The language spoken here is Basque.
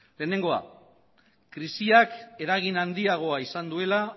lehenengoa krisiak eragin handiagoa izan duela